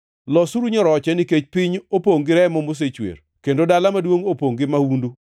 “ ‘Losuru nyoroche, nikech piny opongʼ gi remo mosechwer, kendo dala maduongʼ opongʼ gi mahundu.